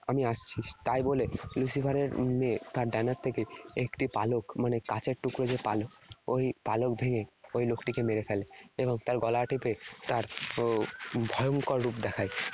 আমি আসছি'। তাই বলে Lucifer এর মেয়ে তার ডানার থেকে একটি পালক মানে কাচের টুকরো যে পালক, ওই পালক ভেঙ্গে ওই লোকটিকে মেরে ফেলে। এবং তার গলা টিপে তার ভয়ঙ্কর রূপ দেখায়।